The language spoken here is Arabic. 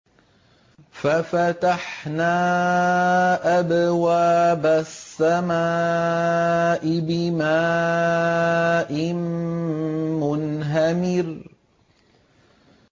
فَفَتَحْنَا أَبْوَابَ السَّمَاءِ بِمَاءٍ مُّنْهَمِرٍ